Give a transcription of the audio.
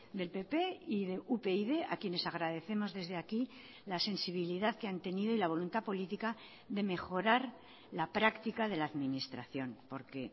del pp y de upyd a quienes agradecemos desde aquí la sensibilidad que han tenido y la voluntad política de mejorar la práctica de la administración porque